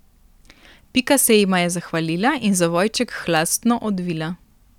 Pika se jima je zahvalila in zavojček hlastno odvila.